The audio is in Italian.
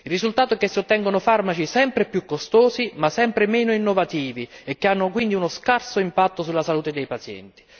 Il risultato è che si ottengono farmaci sempre più costosi ma sempre meno innovativi e che hanno quindi uno scarso impatto sulla salute dei pazienti.